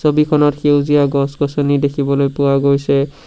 ছবিখনত সেউজীয়া গছ গছনি দেখিবলৈ পোৱা গৈছে।